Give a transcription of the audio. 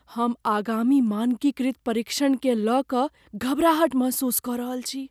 हम आगामी मानकीकृत परीक्षणकेँ लय कऽ घबराहट महसूस कऽ रहल छी।